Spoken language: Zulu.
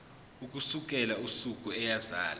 ukusukela usuku eyazalwa